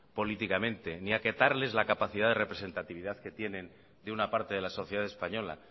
políticamente ni acatarles la capacidad de representatividad que tienen de una parte de la sociedad española